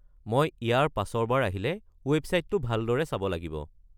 মই ইয়াৰ পাছৰ বাৰ আহিলে ৱেবছাইটটো ভালদৰে চাব লাগিব।